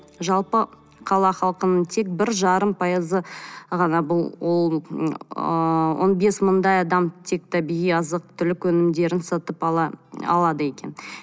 жалпы қала халқының тек бір жарым пайызы ғана бұл ол ы он бес мыңдай адам тек табиғи азық түлік өнімдерін сатып алады екен